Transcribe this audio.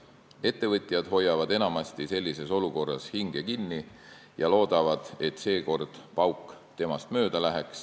Ettevõtjad hoiavad sellises olukorras enamasti hinge kinni ja loodavad, et seekord pauk nendest mööda läheb.